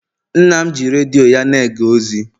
nna m ji redio ya na-ege ozi